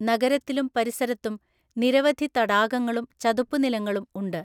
നഗരത്തിലും പരിസരത്തും നിരവധി തടാകങ്ങളും ചതുപ്പുനിലങ്ങളും ഉണ്ട്.